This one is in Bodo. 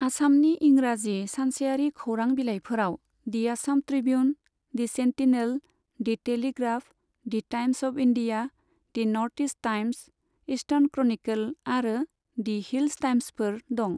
आसामनि इंराजि सानसेयारि खौरां बिलाइफोराव the Assam Tribune, the Sentinel, the Telegraph, the Times of India, the North East Times, Eastern Chronicle आरो दि हिल्स टाइम्सफोर दं।